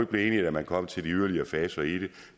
blive enige da man kom til de yderligere faser i det